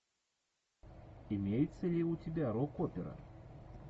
имеется ли у тебя рок опера